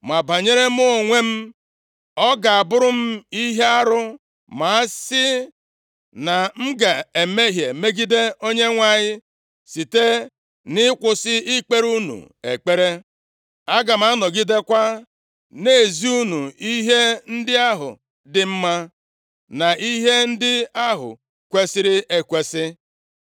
Ma banyere mụ onwe m, ọ ga-abụrụ m ihe arụ ma a sị na m ga-emehie megide Onyenwe anyị site nʼịkwụsị ikpere unu ekpere. Aga m anọgidekwa na-ezi unu ihe ndị ahụ dị mma, na ihe ndị ahụ kwesiri ekwesi.